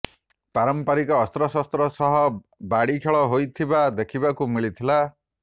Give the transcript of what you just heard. ପାରମ୍ପାରିକ ଅସ୍ତ୍ରଶସ୍ତ୍ର ସହ ବାଡି ଖେଳ ହୋଇଥିବା ଦେଖିବାକୁ ମିଳିଥିଲା